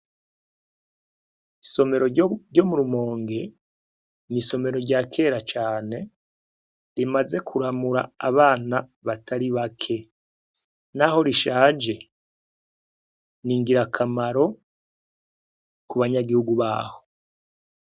Isomero ryo murumonge ni'isomero rya kera cane rimaze kuramura abana batari bake, naho rishaje ni ngira akamaro ku banyagihugu baho.